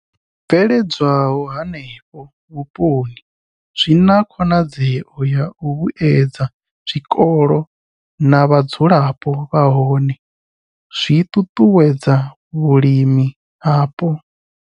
I bveledzwaho henefho vhuponi zwi na khonadzeo ya u vhuedza zwikolo na vhadzulapo nahone zwi ṱuṱuwedza vhulimi hapo.